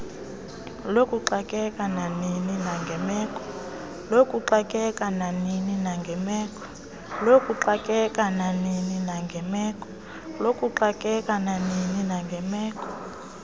lokuxakeka nanini nangemeko